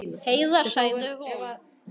Heiða, sagði hún.